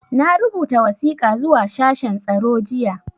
Na rubuta wasiƙa zuwa ga shashen tsaro jiya.